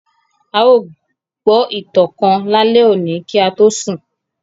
À yóò gbọ itan kan lale oni ki a to sun.